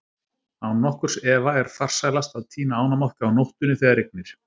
Án nokkurs efa er farsælast að tína ánamaðka á nóttunni þegar rignir.